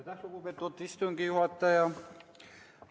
Aitäh, lugupeetud istungi juhataja!